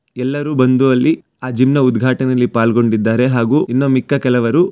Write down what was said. ಎಲ್ಲರೂ ಬಂದು ಅಲ್ಲಿ ಆ ಜಿಮ್ನ ಉದ್ಘಾಟನೆಯಲ್ಲಿ ಪಾಲ್ಗೊಂಡಿದ್ದಾರೆ ಹಾಗು ಇನ್ನು ಮಿಕ್ಕ ಕೆಲವರು--